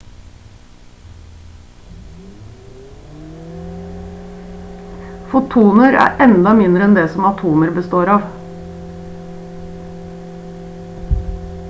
fotoner er enda mindre enn det som atomer består av